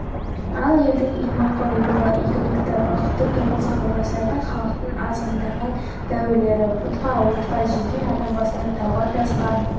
ал елдің иманға ұйуы игілікті бақытты тұрмысқа ұласатын халықтың азғындаған дәуірлері пұтқа отқа жеке адам басына тауға тасқа